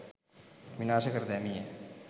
විනාශ කර දැමීය